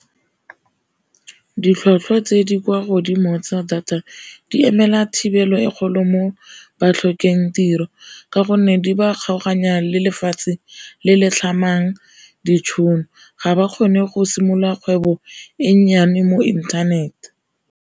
Ditlhwatlhwa tse di kwa godimo tsa data di emela thibelo e kgolo mo ba tlhokeng tiro, ka gonne di ba kgaoganya le lefatshe le le tlhamang ditšhono, ga ba kgone go simolola kgwebo e nnyane mo inthanete.